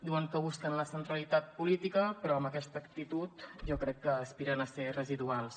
diuen que busquen la centralitat política però amb aquesta actitud jo crec que aspiren a ser residuals